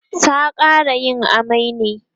ta ƙara yin amai ne?